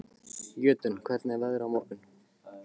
Jötunn, hvernig er veðrið á morgun?